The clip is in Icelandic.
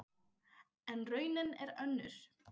En raunin er önnur.